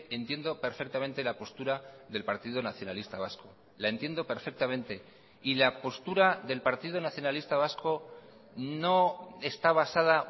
entiendo perfectamente la postura del partido nacionalista vasco la entiendo perfectamente y la postura del partido nacionalista vasco no está basada